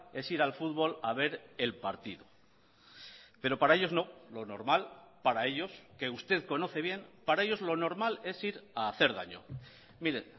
es ir al fútbol a ver el partido pero para ellos no lo normal para ellos que usted conoce bien para ellos lo normal es ir a hacer daño mire